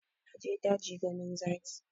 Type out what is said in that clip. Na je daji ganin zaki